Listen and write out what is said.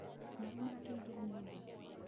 Maaĩ makĩingĩra nyũmba.